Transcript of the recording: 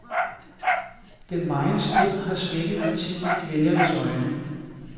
Den megen strid har svækket partiet i vælgernes øjne.